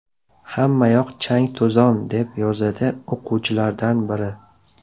Hammayoq chang-to‘zon”, deb yozadi o‘quvchilardan biri.